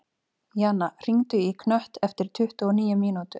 Jana, hringdu í Knött eftir tuttugu og níu mínútur.